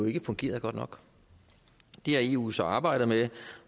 ikke fungerede godt nok det har eu så arbejdet med